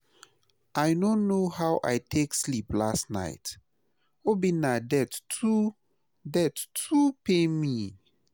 I no know how I take sleep last night, Obinna death too death too pain me